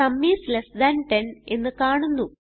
sum is less than 10 എന്ന് കാണുന്നു